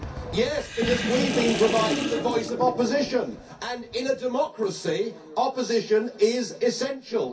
Yes, because we have been providing the voice of opposition and, in a democracy, opposition is essential.